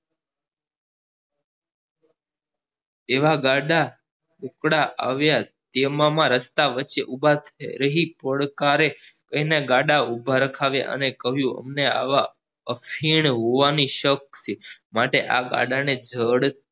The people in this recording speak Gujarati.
તેવા ગાળા ઉપડા અવેર તેમાં રસ્તા વચ્ચે ઉભા રહી એને ગાળા ઉભા રખાવ્યા અને કહ્યું અમને આમ અખીન હોવાની શક છે માટે આ ગાળા ને જડ